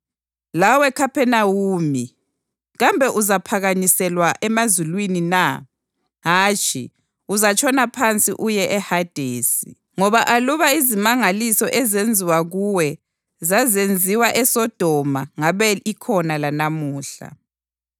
Lawe Khaphenawume, kambe uzaphakanyiselwa emazulwini na? Hatshi, uzatshona phansi uye eHadesi. Ngoba aluba izimangaliso ezenziwa kuwe zazenziwe eSodoma ngabe ikhona lanamuhla.